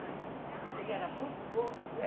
Ele era muito gordo?